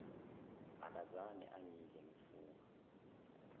akakaze angidle ngifunga